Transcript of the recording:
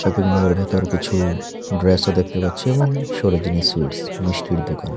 শপিংমলের ভেতর কিছু ড্রেসও দেখতে পাচ্ছি এবং সরজিনী সুইটস মিষ্টির দোকান।